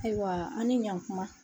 Ayiwa, an ni ɲan kuma.